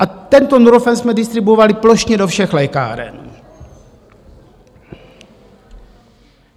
A tento Nurofen jsme distribuovali plošně do všech lékáren.